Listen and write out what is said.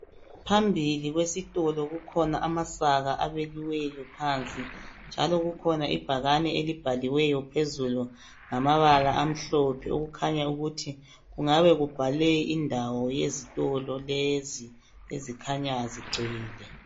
Phambili kwesitolo kukhona amasaka abekiweyo phansi. Njalo kukhona ibhakane elibhaliweyo phezulu ngamabala amhlophe, okukhanya ukuthi kungabe kubhalwe indawo yezitolo lezi ezikhanya zigcwele